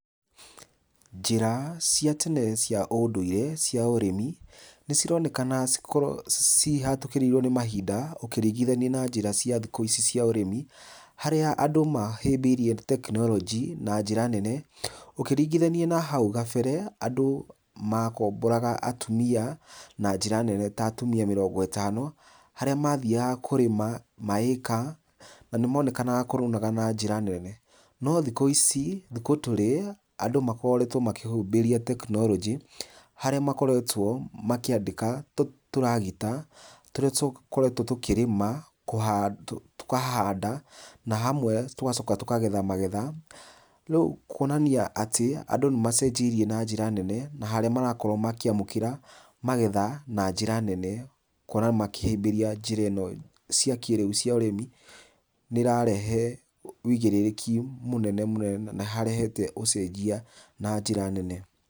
Njĩra cia tene cia ũndũire cia ũrĩmi nĩ cironekana cihatũkĩrĩirwo nĩ mahinda ũkĩringithania na njĩra cia thikũ ici cia ũrĩmi. Harĩa andũ mahĩmbĩirie tekinoronjĩ na njĩra nene ũkĩringithania na hau kabere. Andũ makomboraga atumia na njĩra nene ta atumia mĩrongo ĩtano, harĩa mathiaga kũrĩma ma ĩka na nĩmonekanaga kurunaga na njĩra nene. No thikũ ici thikũ tũrĩ andũ nĩ makoretwo makĩhumbĩria tekinoronjĩ, harĩa makoretwo makĩandĩka tũragita tũrĩa tũkoretwo tũkĩrĩma, tũkahanda na hamwe tũgacoka tũkagetha magetha. Rĩu kuonania atĩ andũ nĩ macenjirie na njĩra nene na harĩa marakorwo makĩamũkĩra magetha na njĩra nene. Gũkora makĩhĩmbĩria njĩra ĩno cia kĩrĩu cia ũrĩmi. Nĩ ũrarehe ũigĩrĩrĩki mũnene mũno na harehete ũcenjia na njĩra nene.